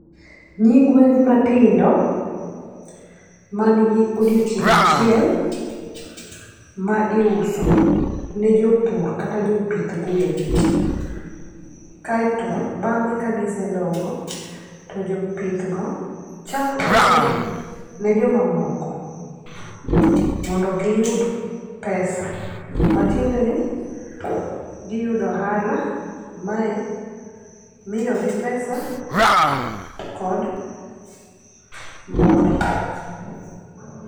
Nyigwen matindo man gi odiochieng' achiel ma iuso ne jopur kata jopith gwen. Kaeto bang'e ka gise dongo, to jopith go chak uso gi ne joma moko mondo giyud pesa. Matiende ni giyudo ohala, mae miyogi pesa kod mor.